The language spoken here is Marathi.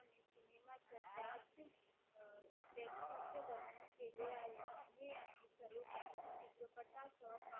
असे वर्णन केले आहे लम्हे आणि सर्वत्रित चित्रपटास